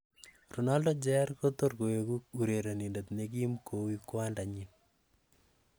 Ronaldo Jr kotorkoeku urerenindet ne kim koi kwanda nyin?